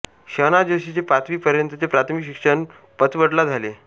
शं ना जोशीचे पाचवी पर्यंतचे प्राथमिक शिक्षण पाचवडला झाले